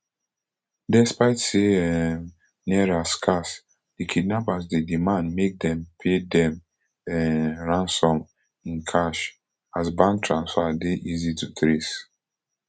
despite say um naira scarce di kidnappers dey demand make dem pay dem um ransom in cash as bank transfer dey easy to trace